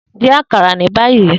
Din akara ni bayi!